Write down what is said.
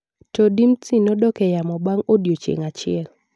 To Dimtsi nodok e yamo bang’ odiechieng’ achiel.